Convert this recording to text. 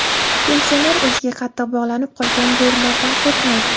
Pensioner o‘ziga qattiq bog‘lanib qolgan bo‘rilardan qo‘rqmaydi.